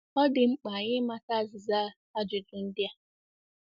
Ọ dị mkpa anyị ịmata azịza ajụjụ ndị a.